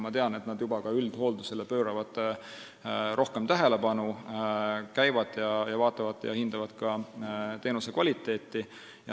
Ma tean, et nad juba pööravad üldhooldusele rohkem tähelepanu, nad vaatavad ja hindavad teenuse kvaliteeti.